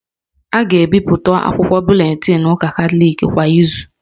A ga-ebipụta akwụkwọ buletinụ ụka Katọliki kwa izu